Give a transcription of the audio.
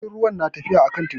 Jirgin ruwa na tafiya a kan teku.